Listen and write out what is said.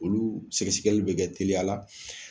Olu sɛgɛsɛgɛli bɛ kɛ teliyala;